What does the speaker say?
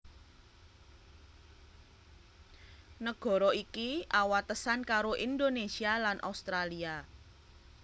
Nagara iki awatesan karo Indonésia lan Australia